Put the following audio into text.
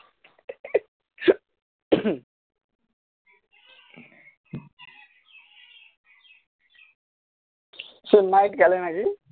সে night খেলে নাকি